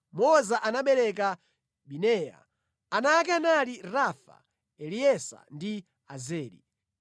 Moza anabereka Bineya. Ana ake anali Rafa, Eleasa ndi Azeli.